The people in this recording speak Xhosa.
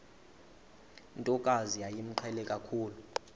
ntokazi yayimqhele kakhulu